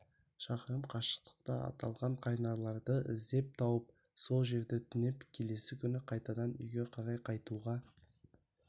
шақырым қашықтықта аталған қайнарларды іздеп тауып сол жерде түнеп келесі күні қайтадан үйге қарай қайтуға